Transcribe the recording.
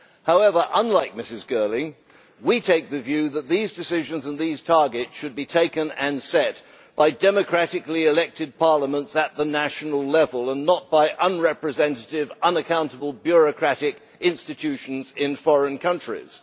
However, unlike Ms Girling, we take the view that these decisions and these targets should be taken and set by democratically elected parliaments at the national level, and not by unrepresentative, unaccountable bureaucratic institutions in foreign countries.